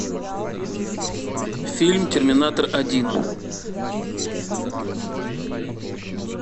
фильм терминатор один